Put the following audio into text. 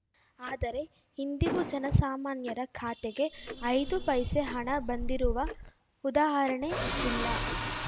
ಆದರೆ ಇಂದಿಗೂ ಜನಸಾಮಾನ್ಯರ ಖಾತೆಗೆ ಐದು ಪೈಸೆ ಹಣ ಬಂದಿರುವ ಉದಾಹರಣೆಯಿಲ್ಲ